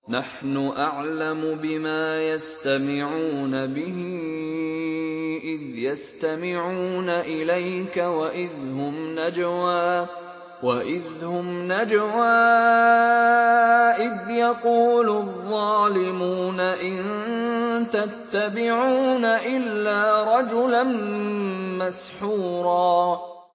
نَّحْنُ أَعْلَمُ بِمَا يَسْتَمِعُونَ بِهِ إِذْ يَسْتَمِعُونَ إِلَيْكَ وَإِذْ هُمْ نَجْوَىٰ إِذْ يَقُولُ الظَّالِمُونَ إِن تَتَّبِعُونَ إِلَّا رَجُلًا مَّسْحُورًا